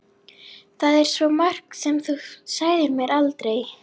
Það er svo margt sem þú sagðir mér aldrei.